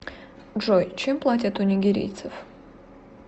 джой чем платят у нигерийцев